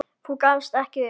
Þú gafst ekki upp.